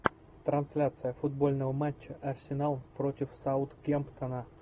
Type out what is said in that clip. трансляция футбольного матча арсенал против саутгемптона